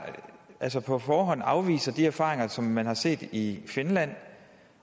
på forhånd afviser de erfaringer som man har set i finland